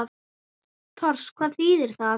Tors. hvað þýðir það?